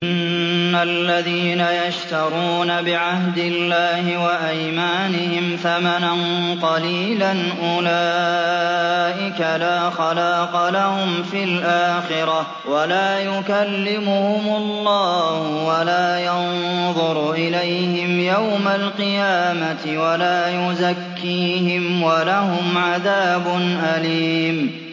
إِنَّ الَّذِينَ يَشْتَرُونَ بِعَهْدِ اللَّهِ وَأَيْمَانِهِمْ ثَمَنًا قَلِيلًا أُولَٰئِكَ لَا خَلَاقَ لَهُمْ فِي الْآخِرَةِ وَلَا يُكَلِّمُهُمُ اللَّهُ وَلَا يَنظُرُ إِلَيْهِمْ يَوْمَ الْقِيَامَةِ وَلَا يُزَكِّيهِمْ وَلَهُمْ عَذَابٌ أَلِيمٌ